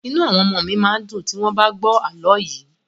Inú àwọn ọmọọ̀ mi máa dùn tí wọ́n bá gbọ́ àlọ́ yìí.